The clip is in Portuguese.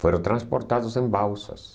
Foram transportados em balsas.